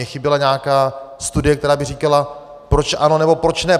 Mně chyběla nějaká studie, která by říkala, proč ano nebo proč ne.